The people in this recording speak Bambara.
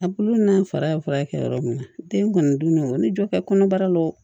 A bulu n'an fara kɛ yɔrɔ min na den kɔni dun ne o ni jɔ kɛ kɔnɔbara lo